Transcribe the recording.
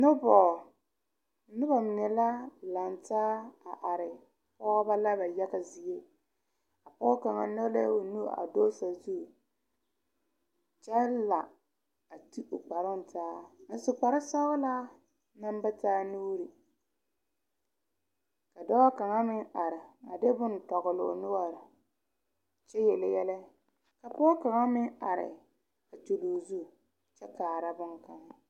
Noba mine la laŋ taa are pɔgeba la yaga zie pɔge kaŋa nyɔge la o nu zege kyɛ la a su kpare sɔglaa maŋ ba taa nuuri dɔɔ kaŋa meŋ are a de boŋ tɔgle o noɔre kyɛ yeli yɛlɛka pɔge kaŋa meŋ are a kyuroo o zu a kaara boŋ kaŋa.